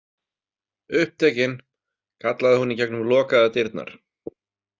Upptekin, kallaði hún í gegnum lokaðar dyrnar.